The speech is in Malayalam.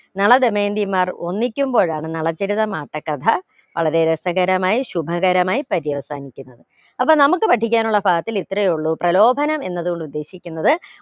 നളദമയന്തിമാർ ഒന്നിക്കുമ്പോഴാണ് നളചരിതം ആട്ടക്കഥ വളരെ രസകരമായി ശുഭകരമായി പര്യവസാനിക്കുന്നത്. അപ്പൊ നമുക്ക് പഠിക്കാനുള്ള ഭാഗത്തിൽ ഇത്രയുള്ളൂ പ്രലോഭനം എന്നതുകൊണ്ട് ഉദ്ദേശിക്കുന്നത്